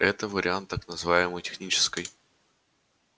это вариант так называемой технической